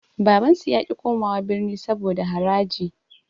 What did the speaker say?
Babansu yaƙi komawa birni saboda haraji.